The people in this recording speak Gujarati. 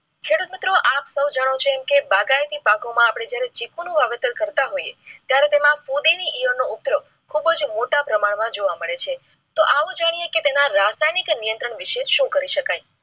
ખેડૂત મિત્રો આપ સૌ જાણો છો કે બાગાયતી પાકો માં આપણે જયારે ચિક નું વાવેતર કરતા હોઈએ ત્યારે તેમાં ઉગ્ર ખુબજ મોટા પ્રમાણ માં જોવા મળે છે તો આવો જાણીએ તેના રાસાયણિક નિયંત્રણ વિશે શું કરી શકાય?